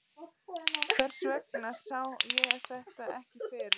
Hvers vegna sá ég þetta ekki fyrir?